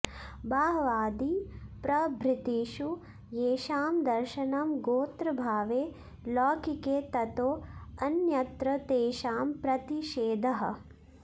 बाह्वादिप्रभृतिषु येषां दर्शनं गोत्रभावे लौकिके ततो ऽन्यत्र तेषां प्रतिषेधः